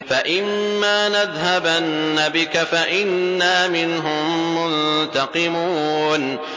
فَإِمَّا نَذْهَبَنَّ بِكَ فَإِنَّا مِنْهُم مُّنتَقِمُونَ